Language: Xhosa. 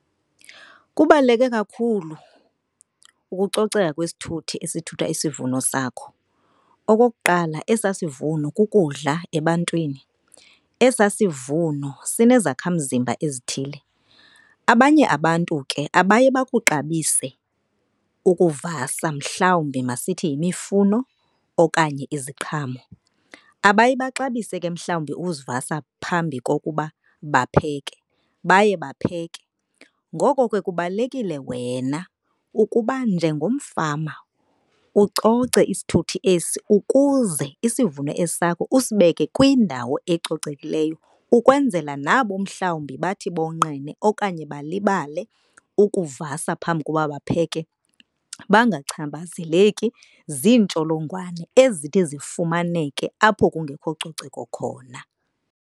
Kubaluleke kakhulu ukucoceka kwesithuthi esithutha isivuno sakho. Okokuqala, esaa sivuno kukudla ebantwini, esaa sivuno sinezakhamzimba ezithile. Abanye abantu ke abaye bakuxabise ukuvasa mhlawumbi masithi yimifuno okanye iziqhamo. Abaye baxabise ke mhlawumbi uzivasa phambi kokuba bapheke, baye bapheke. Ngoko ke kubalulekile wena ukuba njengomfama ucoce isithuthi esi ukuze isivuno esi sakho usibeke kwindawo ecocekileyo. Ukwenzela nabo mhlawumbi bathi bonqene okanye balibale ukuvasa phambi koba bapheke bangachaphazeleki ziintsholongwane ezithi zifumaneke apho kungekho coceko khona.